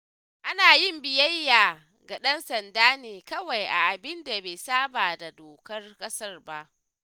Ana yin biyayya ga ɗan sanda ne kawai a abinda bai saɓa da dokar ƙasa ba.